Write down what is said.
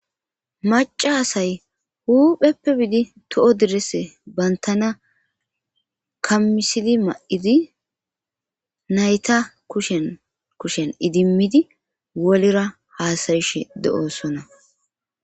Maca asay huupheppe biidi to'o direse bantana kammisili ma'idi nayta kushenkushen idimmidi wolera haasayishe de'oosona.